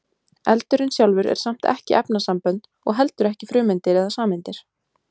eldurinn sjálfur er samt ekki efnasambönd og heldur ekki frumeindir eða sameindir